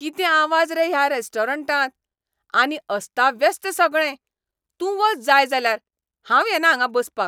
कितें आवाज रे ह्या रॅस्टॉरंटांत? आनी अस्ताव्यस्त सगळें. तूं वच जाय जाल्यार, हांव येना हांगां बसपाक.